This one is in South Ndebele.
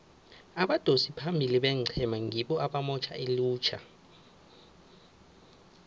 abadosi phambili beenqhema ngibo abamotjha ilutjha